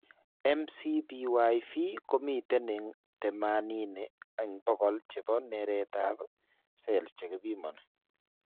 MCPyV komiten en 80% chepo neret ap cell chekipimoni.